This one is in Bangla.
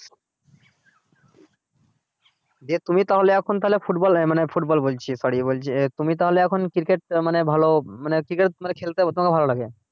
দিয়ে তুমি তাহলে এখন তাহলে football মানে football বলছি sorry বলছি তুমি তাহলে এখন cricket মানে ভালো মানে তোমাকে খেলতে ভালো লাগে